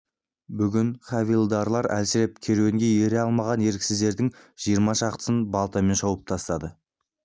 бүгін хавильдарлар әлсіреп керуенге ере алмаған еріксіздердің жиырма шақтысын балтамен шауып тастады